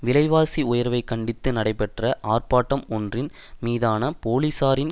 விலைவாசி உயர்வை கண்டித்து நடைபெற்ற ஆர்ப்பாட்டம் ஒன்றின் மீதான போலீசாரின்